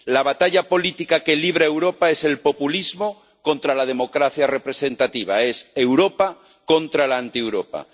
La batalla política que libra Europa es el populismo contra la democracia representativa, es Europa contra la Antieuropa.